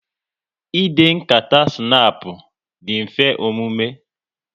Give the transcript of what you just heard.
Ịde nkata snapu dị mfe omume